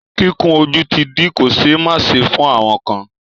Kíkun ojú ti di kò ṣẹ́ máṣe fún àwọn kan.